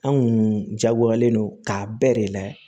An kun jagoyalen don k'a bɛɛ de layɛ